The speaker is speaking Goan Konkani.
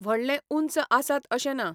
व्हडले ऊंच आसात अशें ना.